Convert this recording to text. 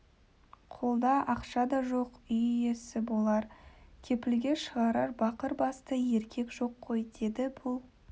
қолда ақша да жоқ үй иесі болар кепілге шығарар бақыр басты еркек жоқ қой деді бұл